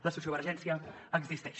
la sociovergència existeix